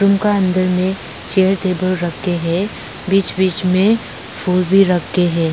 उसका अंदर में चेयर टेबल रखे हैं बीच बीच में फूल भी रखे हैं।